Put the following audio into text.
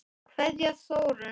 Kveðja, Þórunn.